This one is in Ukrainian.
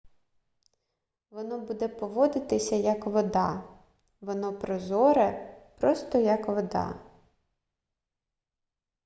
воно буде поводитися як вода воно прозоре просто як вода